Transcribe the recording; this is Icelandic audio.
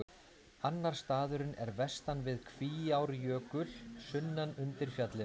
Annar staðurinn er vestan við Kvíárjökul, sunnan undir fjallinu.